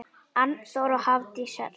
Arnþór og Hafdís Hera.